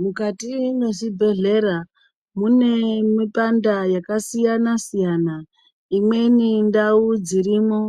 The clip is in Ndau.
Mukati mwezvibhedhlera mune mipanda yakasiyana-siyana. Imweni ndau dzirimwo